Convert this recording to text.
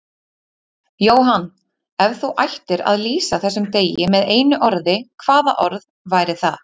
Jóhann: Ef þú ættir að lýsa þessum degi með einu orði, hvaða orð væri það?